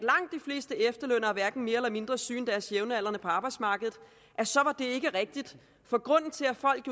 fleste efterlønnere hverken er mere eller mindre syge end deres jævnaldrende på arbejdsmarkedet så var det ikke rigtigt for grunden til at folk